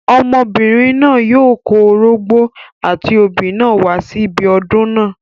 Ọmọbìnrin náà yóò kó orógbó, àti obì náà wá sí ibi ọdún náà.